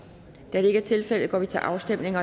da det ikke er tilfældet går vi til afstemning